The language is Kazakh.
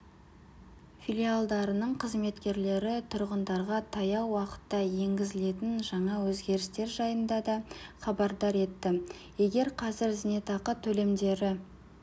филиалдарының қызметкерлері тұрғындарға таяу уақытта енгізілетін жаңа өзгерістер жайында да хабардар етті егер қазір зейнетақы төлемдері